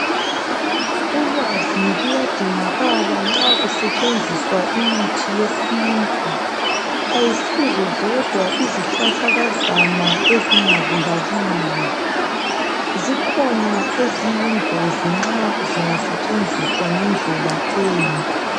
Ulwazi luyadingakala nxa kusetshenziswa imithi yesintu ayisizo zodwa izihlahlakazana ezingabulaliyo zikhona eziyingozi nxa zingasetshenziswa ngendlela embi